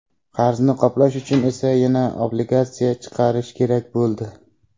Qarzni qoplash uchun esa yana obligatsiya chiqarish kerak bo‘ldi.